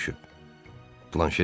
Planşe deyinindi.